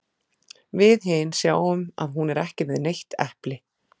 Við hin sjáum að hún er ekki með neitt epli.